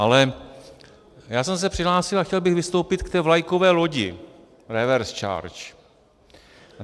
Ale já jsem se přihlásil a chtěl bych vystoupit k té vlajkové lodi reverse charge.